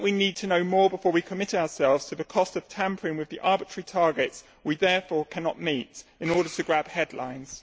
I think that we need to know more before we commit ourselves to the cost of tampering with the arbitrary targets we therefore cannot meet, in order to grab headlines.